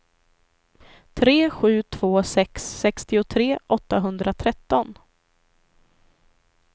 tre sju två sex sextiotre åttahundratretton